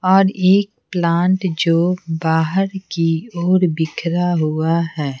और एक प्लांट जो बाहर की ओर बिखरा हुआ है।